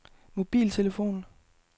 mobiltelefon